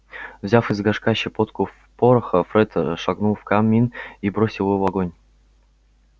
взяв из горшка щепотку пороха фред шагнул в камин и бросил его в огонь